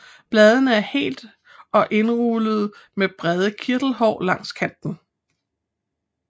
Bladene er hele og indrullede med brede kirtelhår langs kanten